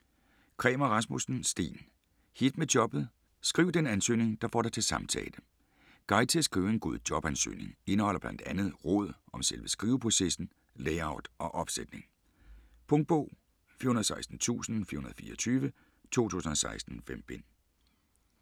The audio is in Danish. Kræmer Rasmusssen, Steen: Hit med jobbet: skriv den ansøgning, der får dig til samtale Guide til at skrive en god jobansøgning. Indeholder blandt andet råd om selve skriveprocessen, layout og opsætning. Punktbog 416424 2016. 5 bind.